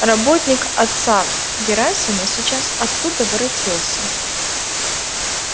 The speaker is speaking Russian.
работник отца герасима сейчас оттуда воротился